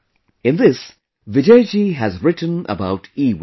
In this, Vijayji has written about EWaste